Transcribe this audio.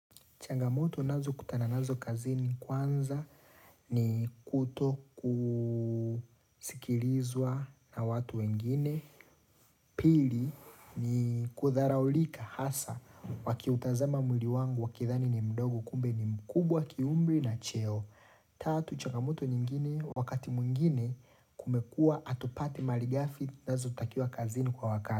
Changamoto nazo kutana nazo kazini kwanza ni kuto kusikilizwa na watu wengine. Pili ni kudharaulika hasa wakiutazama mwili wangu wakidhani ni mdogo kumbe ni mkubwa kiumri na cheo. Tatu changamoto nyingine wakati mwingine kumekua hatupati mali ghafi nazo utakia kazini kwa wakati.